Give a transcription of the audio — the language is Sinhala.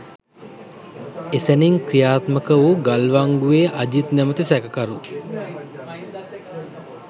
එසැණින් ක්‍රියාත්මක වූ ගල්වංගුවේ අජිත් නමැති සැකකරු